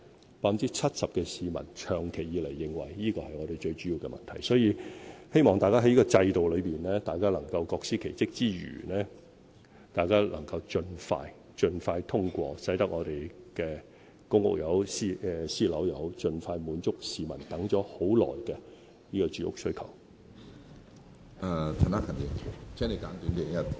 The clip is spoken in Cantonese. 有 70% 的市民長期以來認為住屋是本港最主要的問題，所以，希望大家在這個制度內能夠各司其職之餘，亦能夠盡快通過建屋計劃，使本港的公屋或私人樓宇盡快落成，以滿足市民等待已久的住屋需求。